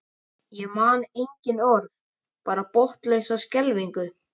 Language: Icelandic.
Ég man engin orð, bara botnlausa skelfingu.